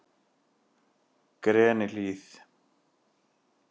Grenihlíð